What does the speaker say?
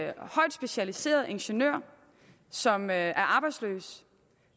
en højt specialiseret ingeniør som er arbejdsløs